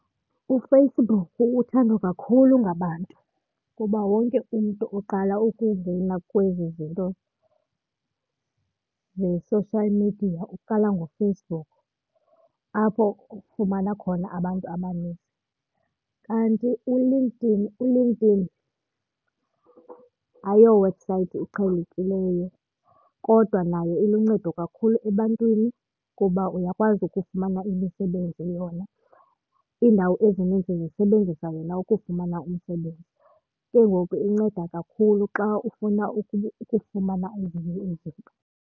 UFacebook uthandwa kakhulu ngabantu kuba wonke umntu oqala ukungena kwezi zinto ze-social media uqala ngoFacebook apho ufumana khona abantu abaninzi. Kanti uLinkedIn, uLinkedIn ayo website iqhelekileyo kodwa naye uluncedo kakhulu ebantwini kuba uyakwazi ukufumana imisebenzi yona. Iindawo ezininzi zisebenzisa yena ukufumana umsebenzi. Ke ngoku inceda kakhulu xa ufuna ukufumana ezinye izinto.